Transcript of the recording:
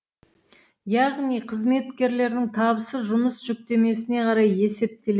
яғни қызметкерлердің табысы жұмыс жүктемесіне қарай есептеле